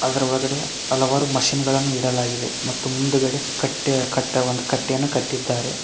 ಅದರ ಒಳಗಡೆ ಹಲವಾರು ಮಷೀನ್ ಗಳನ್ನು ಇಡಲಾಗಿದೆ ಮತ್ತು ಮುಂದ್ಗಡೆ ಕಟ್ಟೆ ಕಟ್ಟವನ್ನು ಒಂದು ಕಟ್ಟೆಯನ್ನು ಕಟ್ಟಿದ್ದಾರೆ.